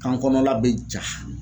Kan kɔnɔna bɛ ja